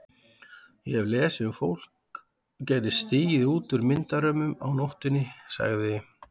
Ég hef lesið um að fólk geti stigið út úr myndarömmunum á nóttunni sagði